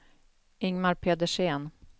Ingmar Pedersen